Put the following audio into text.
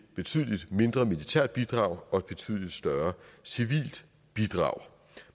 betydelig mindre militært bidrag og et betydelig større civilt bidrag